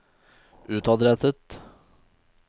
utadrettet